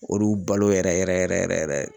Olu balo yɛrɛ yɛrɛ yɛrɛ.